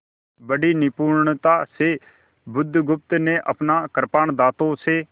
बड़ी निपुणता से बुधगुप्त ने अपना कृपाण दाँतों से